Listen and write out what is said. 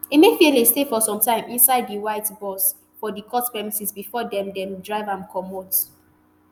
emefiele stay for sometime inside di white bus for di court premises bifor dem dem drive am comot